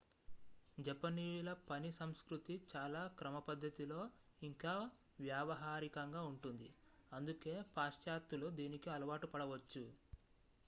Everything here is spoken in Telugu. జపనీయుల పని సంస్కృతి చాలా క్రమపద్ధతిలో ఇంకా వ్యావహారికంగా ఉంటుంది అందుకే పాశ్చాత్త్యులు దీనికి అలవాటు పడవచ్చు